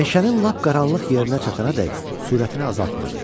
Meşənin lap qaranlıq yerinə çatanadək sürətini azaltmadı.